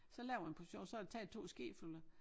Så laver jeg en portion så er der taget 2 skefulde